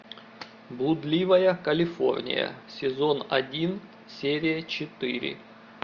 блудливая калифорния сезон один серия четыре